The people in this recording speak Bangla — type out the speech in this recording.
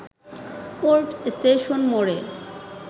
কোর্ট স্টেশন মোড়ে